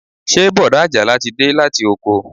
Ṣé bọ̀dá ajala ti de láti oko